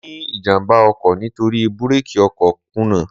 Mo ní ìjàmbá ọkọ̀ nítorí búrákì ọkọ̀ kùnà.